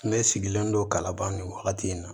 Ne sigilen don ka laban nin wagati in na